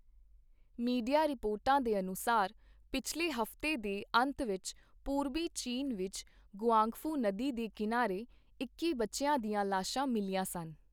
Media ਰਿਪੋਰਟਾਂ ਦੇ ਅਨੁਸਾਰ, ਪਿਛਲੇ ਹਫ਼ਤੇ ਦੇ ਅੰਤ ਵਿੱਚ ਪੂਰਬੀ ਚੀਨ ਵਿੱਚ ਗੁਆਂਗਫੂ ਨਦੀ ਦੇ ਕਿਨਾਰੇ, ਇੱਕੀ ਬੱਚਿਆਂ ਦੀਆਂ ਲਾਸ਼ਾਂ ਮਿਲੀਆਂ ਸਨ।